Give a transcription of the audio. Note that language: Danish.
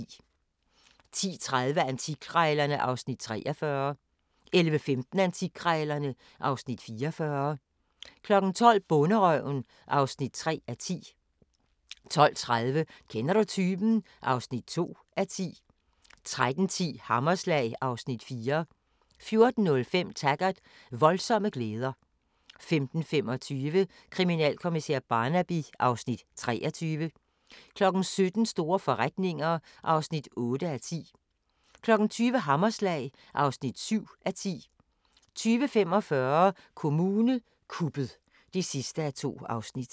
10:30: Antikkrejlerne (Afs. 43) 11:15: Antikkrejlerne (Afs. 44) 12:00: Bonderøven (3:10) 12:30: Kender du typen? (2:10) 13:10: Hammerslag (Afs. 4) 14:05: Taggart: Voldsomme glæder 15:25: Kriminalkommissær Barnaby (Afs. 23) 17:00: Store forretninger (8:10) 20:00: Hammerslag (7:10) 20:45: Kommune kuppet (2:2)